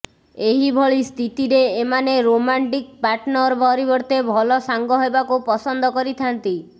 ଏହିଭଳି ସ୍ଥିତିରେ ଏମାନେ ରୋମାଣ୍ଟିକ୍ ପାର୍ଟନର ପରିବର୍ତ୍ତେ ଭଲ ସାଙ୍ଗ ହେବାକୁ ପସନ୍ଦ କରିଥାନ୍ତି